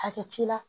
Hakɛ t'i la